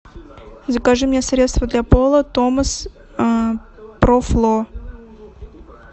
закажи мне средство для пола томас про фло